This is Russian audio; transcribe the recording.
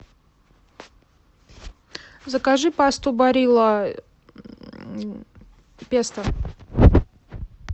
закажи пасту барилла песто